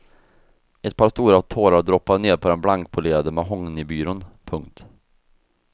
Ett par stora tårar droppade ned på den blankpolerade mahognybyrån. punkt